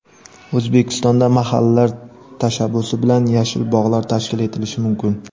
O‘zbekistonda mahallalar tashabbusi bilan yashil bog‘lar tashkil etilishi mumkin.